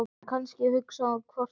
En kannski hugsaði hún hvort tveggja.